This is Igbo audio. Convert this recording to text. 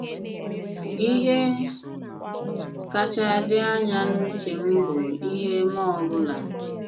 Ìhè kàchá dị anya n’ùchè m bụ ihe mmụọ ọ̀ bụ̀la.